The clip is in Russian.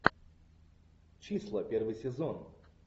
числа первый сезон